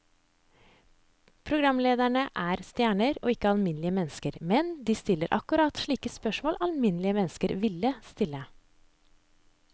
Programlederne er stjerner og ikke alminnelige mennesker, men de stiller akkurat slike spørsmål alminnelige mennesker ville stille.